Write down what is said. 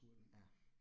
Ja